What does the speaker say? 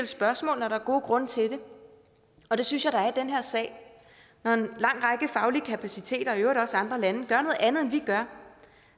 spørgsmål når der er gode grunde til det og det synes jeg der er i den her sag når en lang række faglige kapaciteter og i øvrigt også andre lande gør noget andet end vi gør